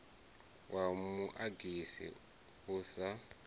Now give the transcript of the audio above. wa mu agasi u sa